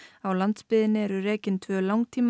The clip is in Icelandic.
á landsbyggðinni eru rekin tvö